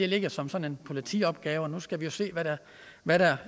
ligger som sådan en politiopgave nu skal vi jo se hvad der